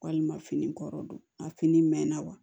Walima fini kɔrɔ don a fini mɛn na wa